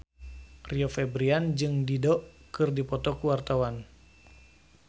Rio Febrian jeung Dido keur dipoto ku wartawan